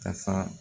Ka fa